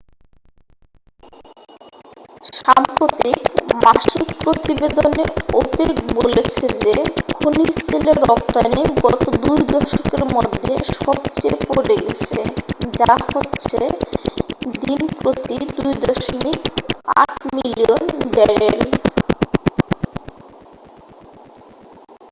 সাম্প্রতিক মাসিক প্রতিবেদনে ওপেক বলেছে যে খনিজ তেলের রপ্তানি গত 2 দশকের মধ্যে সবচেয়ে পরে গেছে যা হচ্ছে দিন প্রতি 2.8 মিলিয়ন ব্যারেল